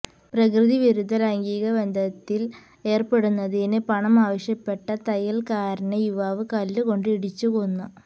പ്രകൃതിവിരുദ്ധ ലൈംഗികബന്ധത്തില് ഏര്പ്പെടുന്നതിന് പണം ആവശ്യപ്പെട്ട തയ്യല്ക്കാരനെ യുവാവ് കല്ലുകൊണ്ട് ഇടിച്ച് കൊന്നു